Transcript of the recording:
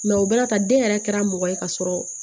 o bɛna ta den yɛrɛ kɛra mɔgɔ ye ka sɔrɔ